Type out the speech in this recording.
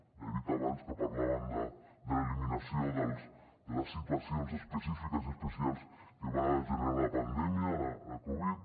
ja he dit abans que parlaven de l’eliminació de les situacions específiques i especials que va generar la pandèmia la covid